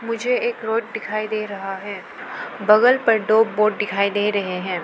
मुझे एक रोड दिखाई दे रहा है बगल पर दो बोर्ड दिखाई दे रहे हैं।